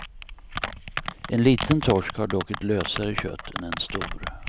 En liten torsk har dock ett lösare kött än en stor.